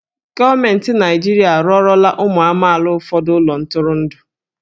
Gọọmenti Naịjirịa arụọlọla ụmụ amaala ụfọdụ ụlọ ntụrụndụ.